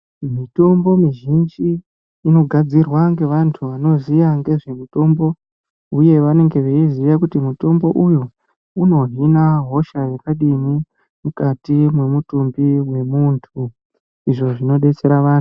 Mitombo mizhinji inogadzirwa ngevantu vanoziya ngezvemitombo, uye vanenge veiziya kuti mutombo uyu unohina hosha yakadini. Mukati mwemutumbi vemuntu izvi zvinodetsera vantu.